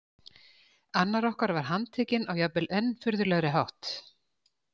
Annar okkar var handtekinn á jafnvel enn furðulegri hátt.